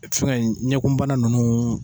E fɛngɛ in ɲɛkunbana nunnu